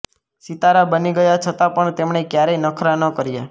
સિતારા બની ગયા છતાં પણ તેમણે ક્યારેય નખરા ન કર્યાં